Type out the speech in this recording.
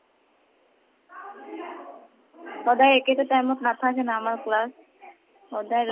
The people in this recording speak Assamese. সদায় একেটা time অত নাতাহেকে ন আমাৰ class । সদায়